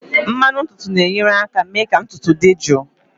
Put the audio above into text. Mmanụ ntutu na-enyere aka mee ka ntutu dị jụụ